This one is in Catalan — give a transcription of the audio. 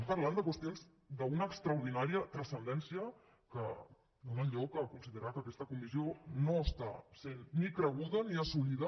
parlem de qüestions d’una extraordinària transcendència que donen lloc a considerar que aquesta comissió no és ni creguda ni assolida